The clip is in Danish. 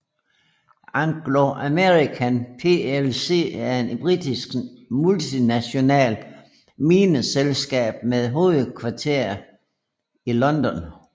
Anglo American plc er et britisk multinationalt mineselskab med hovedkvarter i London